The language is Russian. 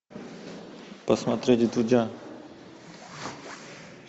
посмотреть вдудя